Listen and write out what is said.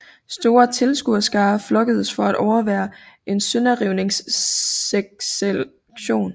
Store tilskuerskarer flokkedes for at overvære en sønderrivningseksekution